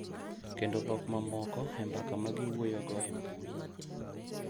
Kendo dhok mamoko e mbaka ma giwuoyogo e mbui,